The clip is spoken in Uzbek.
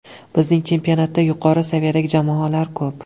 Bizning chempionatda yuqori saviyadagi jamoalar ko‘p.